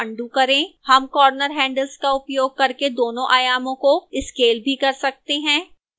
हम corner handles का उपयोग करके दोनों आयामों को scale भी कर सकते हैं